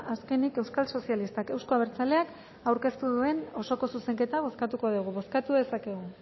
azkenik euskal sozialistak euzko abertzaleak aurkeztu duten osoko zuzenketa bozkatuko dugu bozkatu dezakegu